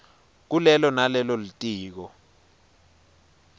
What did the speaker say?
kulelo nalelo litiko